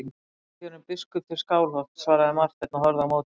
Ég var kjörinn biskup til Skálholts, svaraði Marteinn og horfði á móti.